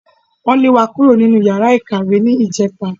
Wọ́n lé wa kúrò nínú yàrá ìkàwé ní ìjẹta